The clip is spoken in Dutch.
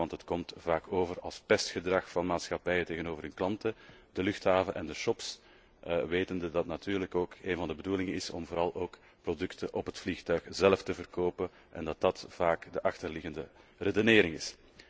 Het komt immers vaak over als pestgedrag van de maatschappijen tegenover de klanten, de luchthaven en de shops, wetende dat het natuurlijk ook een van de bedoelingen is om vooral ook producten op het vliegtuig zelf te verkopen en dat dit vaak de achterliggende redenering is.